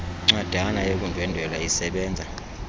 ncwadana yokundwendwela isebenza